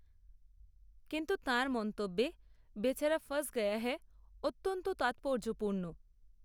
কিন্তু তাঁর মন্তব্যে "বেচারা ফাঁস গয়া হ্যায়" অত্যন্ত তাৎপর্যপূর্ণ